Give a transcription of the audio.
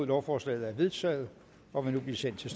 lovforslaget er vedtaget og vil nu blive sendt til